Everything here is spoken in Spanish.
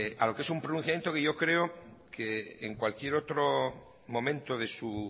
a lo que es un pronunciamiento que yo creo que en cualquier otro momento de su